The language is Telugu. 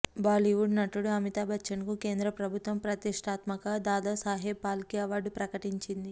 బాలీవుడ్ నటుడు అమితాబ్ బచ్చన్ కు కేంద్ర ప్రభుత్వం ప్రతిష్టాత్మక దాదా సాహెబ్ ఫాల్కే అవార్డు ప్రకటించింది